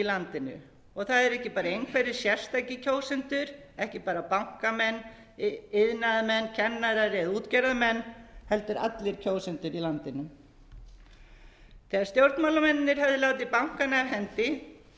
landinu og það eru ekki bara einhverjir sérstakir kjósendur ekki bara bankamenn iðnaðarmenn kennarar eða útgerðarmenn heldur allir kjósendur í landinu þegar stjórnmálamennirnir höfðu látið bankana af hendi bar þeim skylda til